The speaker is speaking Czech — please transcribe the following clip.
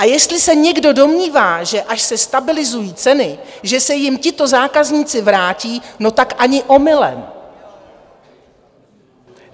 A jestli se někdo domnívá, že až se stabilizují ceny, že se jim tito zákazníci vrátí, no tak ani omylem.